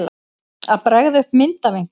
Að bregða upp mynd af einhverju